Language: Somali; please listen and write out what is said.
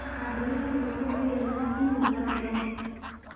Waxaan ilaahay uga baryaynaa inuu ku garab galo